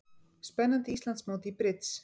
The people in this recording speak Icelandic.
Spennandi Íslandsmót í brids